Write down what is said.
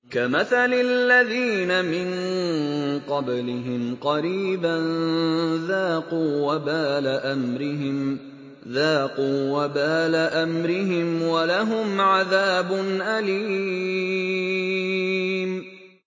كَمَثَلِ الَّذِينَ مِن قَبْلِهِمْ قَرِيبًا ۖ ذَاقُوا وَبَالَ أَمْرِهِمْ وَلَهُمْ عَذَابٌ أَلِيمٌ